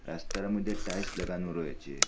রাস্তার মধ্যে টাইলস লাগানো রয়েচে।